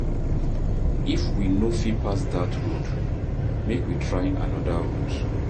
If we no fit pass dat road, make we try anoda route.